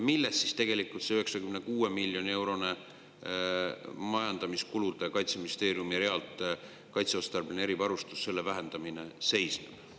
Milles siis tegelikult selle 96 miljoni euro suuruse summa vähendamine Kaitseministeeriumi majandamiskulude realt "Kaitseotstarbeline erivarustus" seisneb?